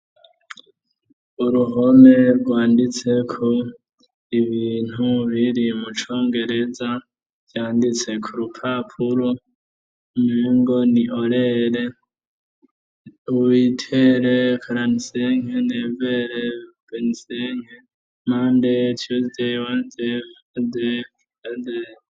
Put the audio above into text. uruhome rwanditse ku ibintu biri mu congereza vyanditse ku rupapuro mingo ni olele witere karanseng never bensenh mande tuday wa jeff de ader